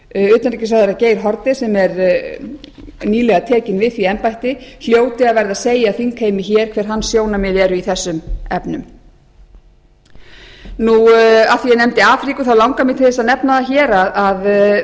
hæstvirtur utanríkisráðherra geir haarde sem er nýlega tekinn við því embætti hljóti að verða að segja þingheimi hér hver hans sjónarmið eru í þessum efnum af því að ég nefndi afríku þá langar mig til þess að nefna